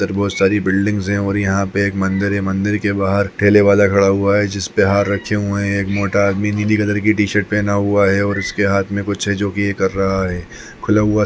इधर बहुत सारी बिल्डिंगस है और यहां पे एक मंदिर है मंदिर के बाहर ठेले वाला खड़ा हुआ है जिस पर हार रखे हुए हैं एक मोटा आदमी भी नीली कलर की टीशर्ट पहना हुआ है और उसके हाथ में कुछ है जोकि यह कर रहा है खुला हुआ--